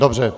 Dobře.